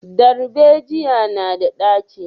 Darbejiya na da ɗaci?